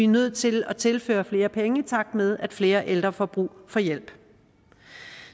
nødt til at tilføre flere penge i takt med at flere ældre får brug for hjælp